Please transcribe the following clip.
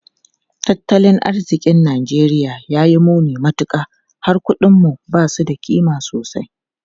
Tattalin arzikin Najeriya ya yi muni matuka, har kudinmu ba su da kima sosai.